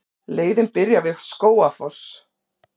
Leiðin byrjar við Skógafoss.